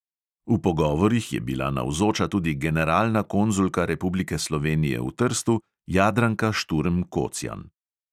V pogovorih je bila navzoča tudi generalna konzulka republike slovenije v trstu jadranka šturm kocjan.